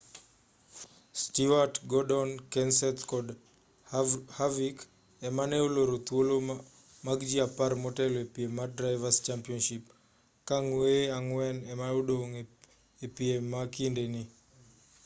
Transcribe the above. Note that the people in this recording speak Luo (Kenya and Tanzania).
stewart gordon kenseth kod harvick ema ne oloro thuolo mag ji apar motelo e piem mar drivers' championship ka ng'weye ang'wen ema odong' e piem ma kinde ni